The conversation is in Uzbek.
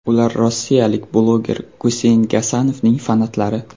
Ular rossiyalik bloger Guseyn Gasanovning fanatlari.